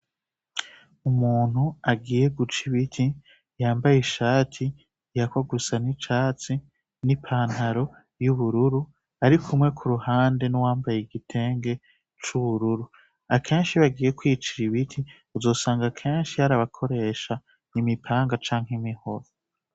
Umuntu agiye guca ibiti yambaye ishati yako gusa n'icatsi n'ipantaro y'ubururu arikumwe ku ruhande n'uwambaye igitenge c'ubururu akenshi bagiye kwicira ibiti uzosanga kenshi yarabakoresha imipanga canke imihoro.